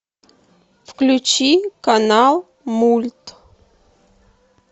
включи канал мульт